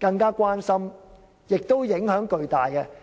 更為關注且影響重大的巨塔。